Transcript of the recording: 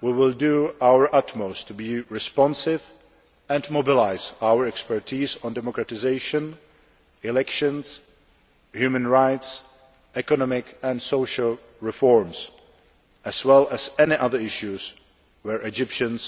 we will do our utmost to be responsive and mobilise our expertise on democratisation, elections, human rights, economic and social reforms, as well as any other issues where Egyptians